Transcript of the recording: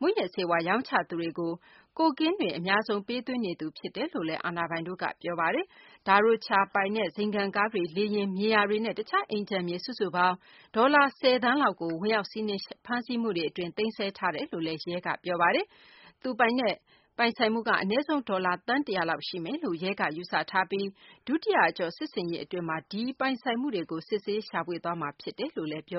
မူးယစ်ဆေးဝါး ရောင်းချသူတွေကို ကိုကိန်းတွေ အဓိက ပေးသွင်းနေသူ ဖြစ်တယ်လို့လည်း အာဏာပိုင်တို့က ပြောပါတယ်။ Luiz Carlos da Rocha ပိုင် ဇိမ်ခံကားတွေ၊ လေယာဉ်၊ မြေယာတွေနဲ့ တခြား အိမ်ခြံမြေ စုစုပေါင်း ဒေါ်လာ ၁၀ သန်းလောက်ကို ဝင်ရောက်စီးနင်း ဖမ်းဆီးမှုတွေ အတွင်း သိမ်းဆည်းထားတယ်လို့လည်း ရဲ က ပြောပါတယ်။ မူးယစ်ရာဇာ Luiz Carlos da Rocha ရဲ့ ပုဂ္ဂလိက ပိုင်ဆိုင်မှုက အနည်းဆုံး ဒေါ်လာ သန်း ၁၀၀ လောက် ရှိမယ်လို့ ရဲ့ ယူဆထားပြီး ဒုတိယ အကျော့ စစ်ဆင်ရေး အတွင်း ဒီပိုင်ဆိုင်မှုတွေကို စစ်ဆေး ရှာဖွေသွားမှာ ဖြစ်တယ်လို့လည်း ရဲက ပြော